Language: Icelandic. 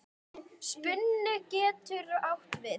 Spuni getur átt við